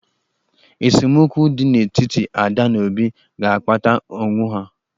Esemokwu dị n'etiti Ada na Obi ga-akpata ọnwụ ha.